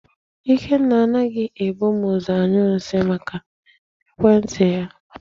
Ikenna anaghị ebu m ụzọ anyụ nsị, maka ekwentị ya.